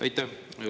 Aitäh!